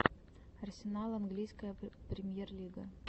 арсенал английская премьер лига